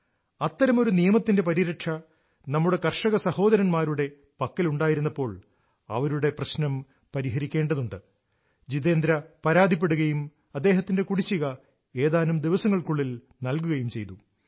അത്തരമൊരു നിയമത്തിന്റെ പരിരക്ഷ നമ്മുടെ കർഷക സഹോദരന്മാരുടെ പക്കലുണ്ടായിരുന്നപ്പോൾ അവരുടെ പ്രശ്നം പരിഹരിക്കേണ്ടതുണ്ട് ജിതേന്ദ്ര പരാതിപ്പെടുകയും അദ്ദേഹത്തിന്റെ കുടിശ്ശിക ഏതാനും ദിവസങ്ങൾക്കുള്ളിൽ നൽകുകയും ചെയ്തു